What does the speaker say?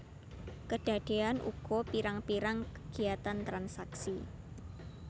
Kedadéan uga pirang pirang kegiyatan transaksi